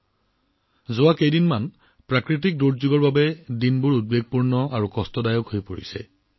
বিগত কিছুদিন ধৰি প্ৰাকৃতিক দুৰ্যোগৰ বাবে চিন্তা আৰু উদ্বেগপূৰ্ণ হৈ আছে